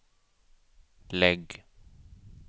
lägg